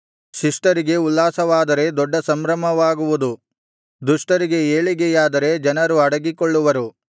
ಶಿಷ್ಟರಿಗೆ ಉಲ್ಲಾಸವಾದರೆ ದೊಡ್ಡ ಸಂಭ್ರಮವಾಗುವುದು ದುಷ್ಟರಿಗೆ ಏಳಿಗೆಯಾದರೆ ಜನರು ಅಡಗಿಕೊಳ್ಳುವರು